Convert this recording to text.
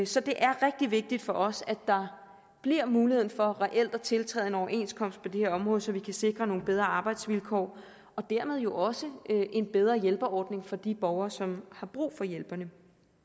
så det er rigtig vigtigt for os at der bliver mulighed for reelt at tiltræde en overenskomst på det her område så vi kan sikre nogle bedre arbejdsvilkår og dermed jo også en bedre hjælpeordning for de borgere som har brug for hjælperne